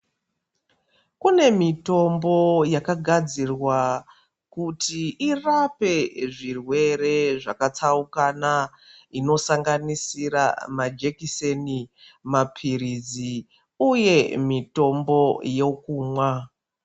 Kune mitombo yakagadzirwa kuti irape zvirwere zvakatsaukana, inosanganisira majekiseni, maphirizi uye mitombo yokumwa.